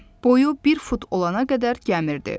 Boyu bir fut olana qədər gəmirdi.